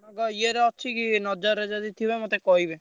ଇଏରେ ଅଛି କି ନଜରରେ ଯଦି ଥିବ ମତେ କହିବେ।